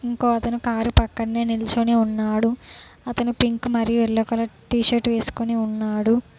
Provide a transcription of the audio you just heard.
ఇంకో అతను కారు పక్కనే నిల్చొని ఉన్నాడు అతను పింక్ మరియు యెల్లో కలర్ టీషర్ట్ వేసుకొని ఉన్నాడు.